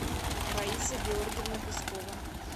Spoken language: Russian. раиса георгиевна пескова